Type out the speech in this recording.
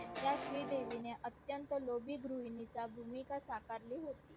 त्यात श्री देवी नि अत्यंत लोभी गृहिणी ची भूमिका स्वीकारली होती